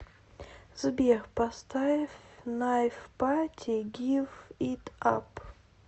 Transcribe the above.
сбер поставь найф пати гив ит ап